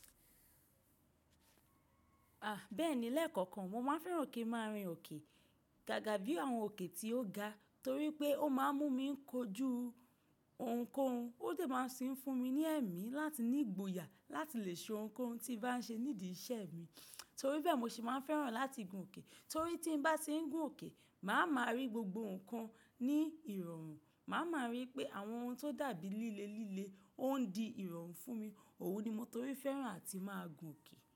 À, bẹ́ẹ̀ni lẹ́ẹ̀kọ̀kan. Mo máa fẹ́ràn kí n máa rin òkè gágà bíi àwọn òkè tí ó ga torí pé ó máa ń mú mi ń kojú ohunkóhun. Ó de máa ń ti n fún mi ní ẹ̀mí láti ní ìgboyà láti lè ṣe ohunkóhun tí bá ń ṣe nídi iṣẹ́ mi. Torí bẹ́ẹ̀ mo sì máa ń fẹ́ràn láti gùn òkè torí tí n bá ti ń gùn òkè, màá máa rí gbogbo nǹkan ní ìrọ̀rùn. Màá máa rí pé àwọn ohun tó dàbí líle líle ó ń di ìrọ̀rùn fún mi. Òun ni mo torí fẹ́ràn àti máa gùn òkè.